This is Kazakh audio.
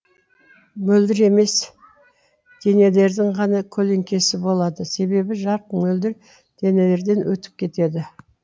мөлдір емес денелердің ғана көлеңкесі болады себебі жарық мөлдір денелерден өтіп кетеді